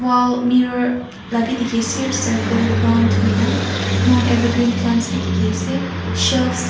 bhal mirror la bhe dekh ase circle round hoi kena evergreen plants dekhe ase shells--